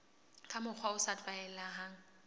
ka mokgwa o sa tlwaelehang